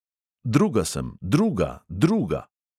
Druga sem, druga, druga!